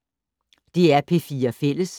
DR P4 Fælles